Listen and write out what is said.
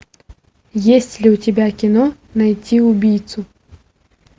есть ли у тебя кино найти убийцу